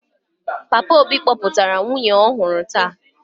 Papa obi kpotara nwunye ọhụrụ taa.